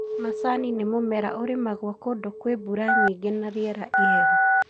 Macani nĩ mũmera ũrĩmagwo kũndũ kwĩ mbura nyingĩ na rĩera ihehu.